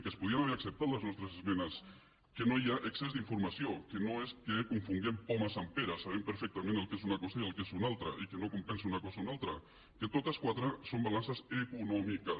que es podien haver acceptat les nostres esmenes que no hi ha excés d’informació que no és que confonguem pomes amb peres sabem perfectament què és una cosa i què és una altra i que no compensa una cosa a l’altra que totes quatre són balances econòmiques